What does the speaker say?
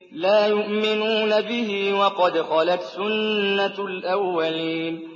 لَا يُؤْمِنُونَ بِهِ ۖ وَقَدْ خَلَتْ سُنَّةُ الْأَوَّلِينَ